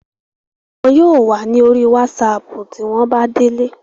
wọn yóò wà ní orí wásapù tí wọ́n bá délé